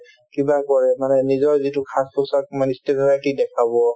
কিবা কৰে মানে নিজৰ যিটো সাজপোছাক মানে দেখাব